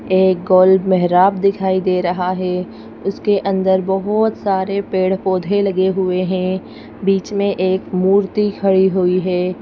एक गोल मेहराब दिखाई दे रहा है उसके अंदर बहुत सारे पेड़-पौधे लगे हुए हैं बीच में एक मूर्ति खड़ी हुई है।